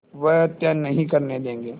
वह हत्या नहीं करने देंगे